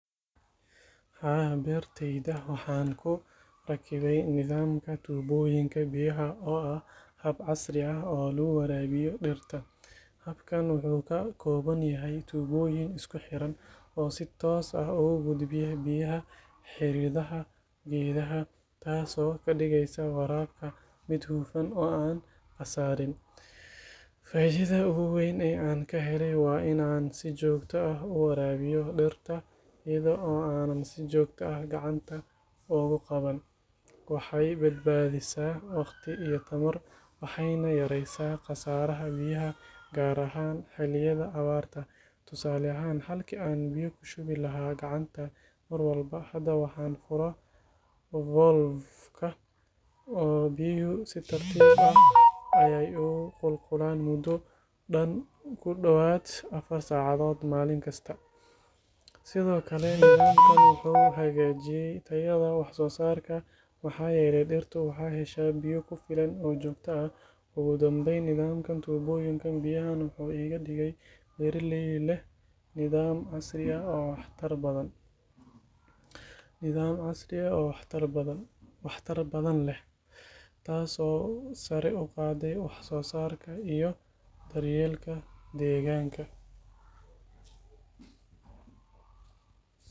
Haa, beertayda waxaan ku rakibay nidaamka tuubooyinka biyaha oo ah hab casri ah oo lagu waraabiyo dhirta. Habkan wuxuu ka kooban yahay tuubooyin isku xiran oo si toos ah ugu gudbiya biyaha xididada geedaha, taas oo ka dhigaysa waraabka mid hufan oo aan khasaarin. Faa'iidada ugu weyn ee aan ka helay waa in aan si joogto ah u waraabiyo dhirta iyada oo aanan si joogto ah gacanta uga qaban. Waxay badbaadisaa wakhti iyo tamar, waxayna yareysaa khasaaraha biyaha gaar ahaan xilliyada abaarta. Tusaale ahaan, halkii aan biyo ku shubi lahaa gacanta mar walba, hadda waxaan furo valve-ka oo biyuhu si tartiib ah ayay u qulqulaan muddo dhan ku dhowaad afar saacadood maalin kasta. Sidoo kale nidaamkan wuxuu hagaajiyay tayada wax soo saarka, maxaa yeelay dhirtu waxay heshaa biyo ku filan oo joogto ah. Ugu dambeyn, nidaamka tuubooyinka biyaha wuxuu iga dhigay beeraley leh nidaam casri ah oo waxtar badan leh, taas oo sare u qaaday wax soo saarka iyo daryeelka deegaanka.